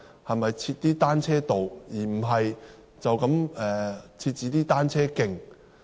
可否設立單車道而不只是單車徑？